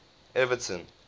everton